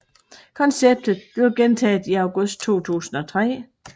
Konceptet blev gentaget i august 2003